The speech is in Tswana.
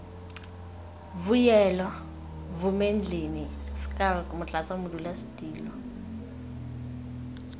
vuyelwa vumendlini schalk motlatsa modulasetulo